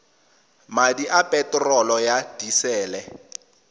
madi a peterolo ya disele